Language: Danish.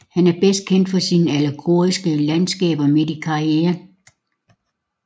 Han er bedst kendt for sine allegoriske landskaber midt i karrieren